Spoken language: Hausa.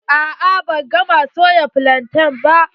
A'a ban gama soya flantain ba.